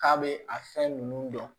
K'a bɛ a fɛn nunnu dɔn